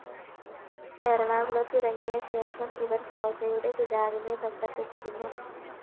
എറണാകുളത്ത് ഇറങ്ങിയ ശേഷം ഇവര്‍ സോജയുടെ പിതാവിനെ ബന്ധപ്പെട്ടിരുന്നു